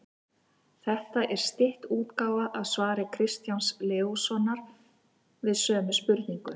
Þetta er stytt útgáfa af svari Kristjáns Leóssonar við sömu spurningu.